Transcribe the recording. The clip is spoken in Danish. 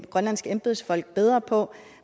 grønlandske embedsmænd bedre på